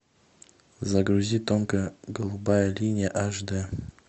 загрузи тонкая голубая линия аш дэ